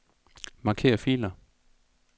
Marker filer.